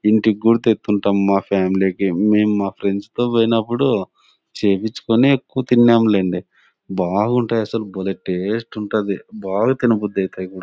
ఇంటికి కూడా తేతుంటాము ఫ్యామిలీ కి. నేను మా ఫ్రెండ్స్ తో పోయినప్పుడు చేపించుకొని తిన్నాంలెండి. బాగుంటది. భలే టేస్ట్ ఉంటది. బాగా తిన్న బుద్ధి అయితది కూడా.